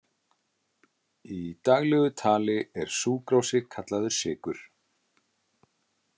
Í daglegu tali er súkrósi kallaður sykur.